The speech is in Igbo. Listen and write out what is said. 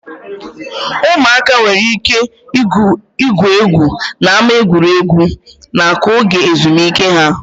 Ụmụaka nwere ike igwu egwu n'ámá egwuregwu na-akụ oge ezumike ha.